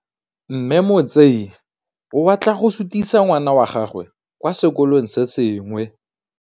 Mme Motsei o batla go sutisa ngwana wa gagwe kwa sekolong se sengwe.